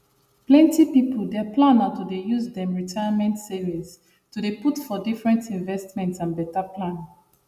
plenty people their plan na to dey use dem retirement savings to dey put for different investments and better plan